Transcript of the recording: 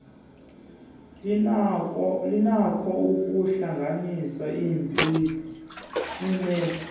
linakho ukuhlanganisa iimephu